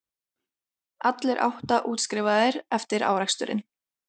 Allir átta útskrifaðir eftir áreksturinn